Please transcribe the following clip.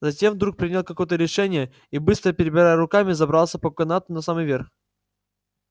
затем вдруг принял какое-то решение и быстро перебирая руками забрался по канату на самый верх